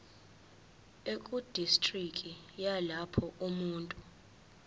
ekudistriki yalapho umuntu